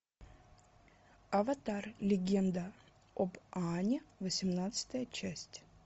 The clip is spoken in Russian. аватар легенда об аанге восемнадцатая часть